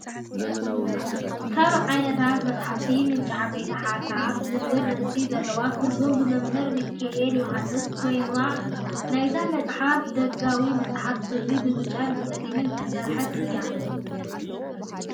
ካብ ዓይነታት መፅሓፍቲ ምንጪ ዓበይቲ ሓሳባት ዝብል ርእሲ ዘለዋ ትርጉም ብመመምር ሚኪኤለ ዮሃንስ ኮይና እዩ። ናይዛ መፅሓፍ ደጋዊ መፅሓፍ ሕብሪ ብብጫን ብፀሊም ዝተሰርሐት እያ።